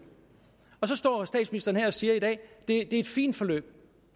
så står statsministeren her og siger at det er et fint forløb